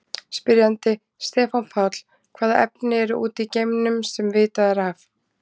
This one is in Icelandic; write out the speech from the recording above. Spyrjandi: Stefán Páll Hvaða efni eru úti í geimnum, sem vitað er af?